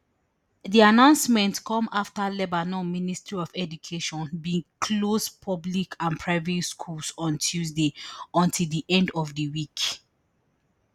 di announcement come afta lebanon ministry of education bin close public and private schools on tuesday until di end of di week